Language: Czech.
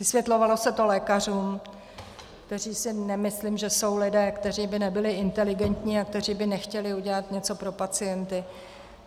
Vysvětlovalo se to lékařům, kteří si nemyslím, že jsou lidé, kteří by nebyli inteligentní a kteří by nechtěli udělat něco pro pacienty.